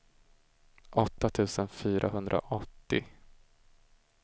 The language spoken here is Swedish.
åtta tusen fyrahundraåttio